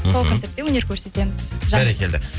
сол концертте өнер көрсетеміз бәрекелді